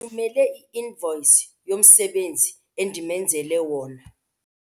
Ndithumele i-invoyisi yomsebenzi endimenzele wona.